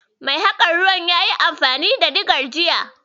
Mai gyaran ruwan yayi amfani da Diga jiya.